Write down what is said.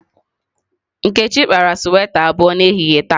Nkechi kpara sweta abụọ n'ehihie taa.